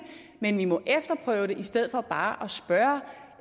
men vi må efterprøve det i stedet for bare